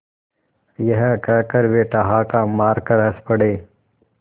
यह कहकर वे ठहाका मारकर हँस पड़े